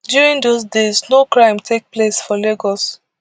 during dose days no crime take place for lagos